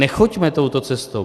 Nechoďme touto cestou.